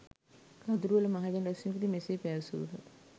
කදුරුවෙල මහජන රැුස්වීමකදී මෙසේ පැවසූහ